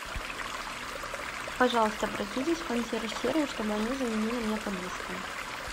пожалуйста обратитесь в консьерж сервис чтобы они заменили мне подушку